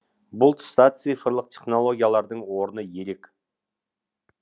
бұл тұста цифрлық технологиялардың орны ерек